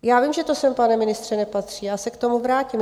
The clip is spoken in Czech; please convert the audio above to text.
Já vím, že to sem, pane ministře, nepatří, já se k tomu vrátím.